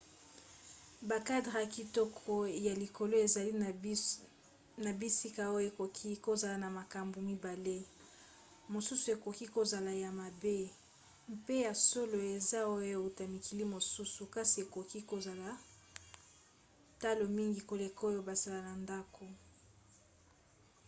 bakadre ya kitoko ya likolo ezali na bisika oyo ekoki kozala na makambo mibale; mosusu ekoki kozala ya mabe mpe ya solo eza oyo euta mikili mosusu kasi ekoki kozala talo mingi koleka oyo basala na ndako